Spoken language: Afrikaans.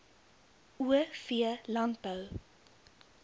o v landbou